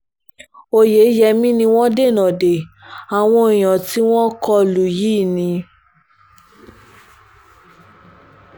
oyeyèmí ni wọ́n dènà de àwọn èèyàn tí wọ́n kọ lù yìí ni